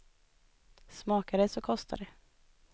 Smakar det så kostar det.